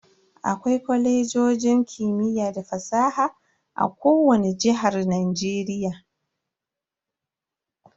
Akwai Kwalejojin kimiyya da fasaha a kowani jihar Najeriya.